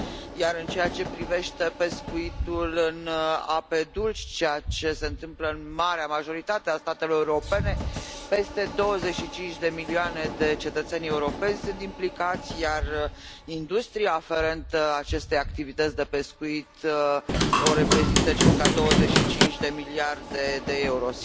Iar în ceea ce privește pescuitul în ape dulci, care se întâmplă în marea majoritate a statelor europene, peste 25 de milioane de cetățeni europeni sunt implicați, iar industria aferentă acestei activități de pescuit o reprezintă circa 25 de miliarde de euro.